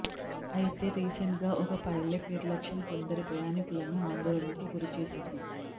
అయితే రీసెంట్ గా ఒక పైలెట్ నిర్లక్ష్యం కొందరి ప్రయాణికులను ఆందోళనకు గురిచేసింది